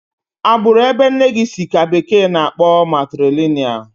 Agbụrụ ebe nne si ka bekee na-akpọ matrilinịal